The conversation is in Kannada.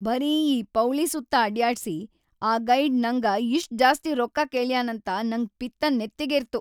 ಬರೀ ಈ ಪೌಳಿ ಸುತ್ತ ಅಡ್ಯಾಡ್ಸಿ ಆ ಗೈಡ್‌ ನಂಗ ಇಷ್ಟ್‌ ಜಾಸ್ತಿ ರೊಕ್ಕಾ ಕೇಳ್ಯಾನಂತ ನಂಗ್‌ ಪಿತ್ತ್‌ ನೆತ್ತಿಗೇರ್ತು.